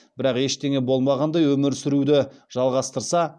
бірақ ештеңе болмағандай өмір сүруді жалғастырса